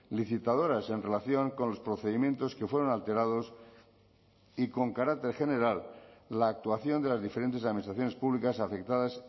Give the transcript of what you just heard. licitadoras en relación con los procedimientos que fueron alterados y con carácter general la actuación de las diferentes administraciones públicas afectadas